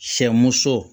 Sɛ muso